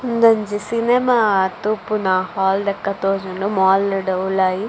ಉಂದೊಂಜಿ ಸಿನಿಮ ತೂಪುನ ಹಾಲ್ ಲೆಕ ತೋಜುಂಡು ಮಾಲ್ ಡ್ ಉಲಾಯಿ.